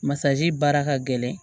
Masazi baara ka gɛlɛn